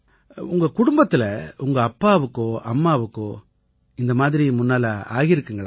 உங்க குடும்பத்தில உங்க அப்பாவுக்கோ அம்மாவுக்கோ இந்த மாதிரி முன்னால ஆகியிருக்கா